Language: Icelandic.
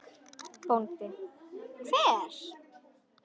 BÓNDI: Hver?